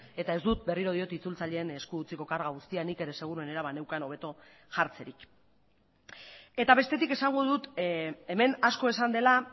eta ez dut berriro diot itzultzaileen esku utziko karga guztia nik ere seguruenera baneukan hobeto jartzerik eta bestetik esango dut hemen asko esan dela